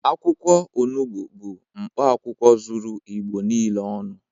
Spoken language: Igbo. Akwụkwọ onubu bụ mkpaakwụkwọ zuru Igbo niile ọnụ